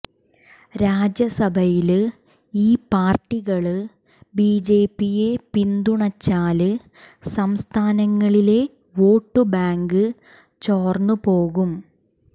രാജ്യസഭയില് ഈ പാര്ട്ടികള് ബിജെപിയെ പിന്തുണച്ചാല് സംസ്ഥാനങ്ങളിലെ വോട്ടുബാങ്ക് ചോര്ന്ന് പോകും